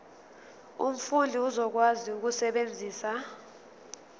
umfundi uzokwazi ukusebenzisa